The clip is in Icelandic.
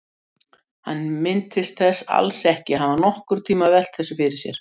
Hann minntist þess alls ekki að hafa nokkurntíma velt þessu fyrir sér.